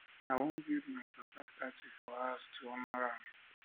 i wan um build my papa statue um for our house to honor um am